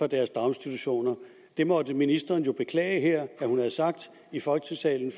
deres daginstitutioner det måtte ministeren jo beklage her i folketingssalen